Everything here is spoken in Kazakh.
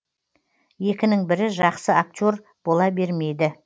екінің бірі жақсы актер бола бермейді